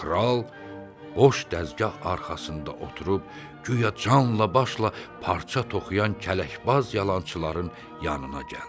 Kral boş dəzgah arxasında oturub guya canla-başla parça toxuyan kələkbaz yalançıların yanına gəldi.